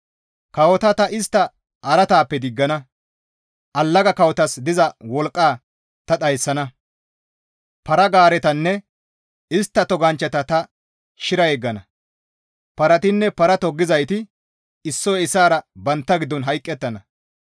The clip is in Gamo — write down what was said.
Kawota ta istta araataappe diggana; allaga kawotas diza wolqqa ta dhayssana; para-gaaretanne istta toganchchata ta shira yeggana; paratinne para toggizayti issoy issaara bantta giddon hayqettana.